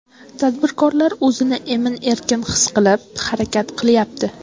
Tadbirkorlar o‘zini emin-erkin his qilib, harakat qilyapti.